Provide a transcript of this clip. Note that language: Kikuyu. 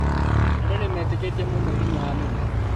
Andũ nĩmeetĩkĩtie mũno hinya wa mĩmera